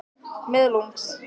Opið má.